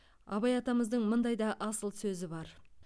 абай атамыздың мындай да асыл сөзі бар